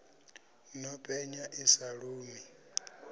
no penya i sa lumi